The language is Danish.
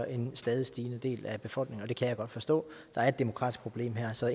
en stadig stigende del af befolkningen og det kan jeg godt forstå der er et demokratisk problem her så